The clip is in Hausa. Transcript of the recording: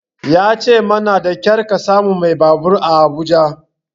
Ya ce mana da ƙyar ka samu mai babur a Abuja.